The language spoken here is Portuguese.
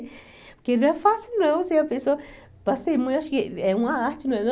Porque não é fácil, não, ser a pessoa... Para ser mãe, acho que é uma arte, não é, não?